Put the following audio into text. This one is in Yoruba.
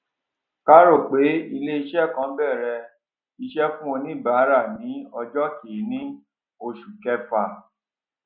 ká rò pé ilé iṣẹ kan bẹrẹ ìṣe fún oníbárà ní ọjọ kiíní oṣù kẹfà